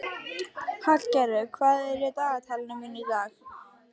Hallgerður, hvað er í dagatalinu mínu í dag?